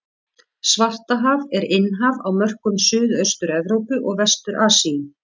Svartahaf er innhaf á mörkum Suðaustur-Evrópu og Vestur-Asíu.